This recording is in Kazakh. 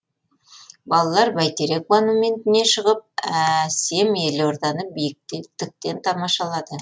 балалар бәйтерек монументіне шығып әсем елорданы биіктіктен тамашалады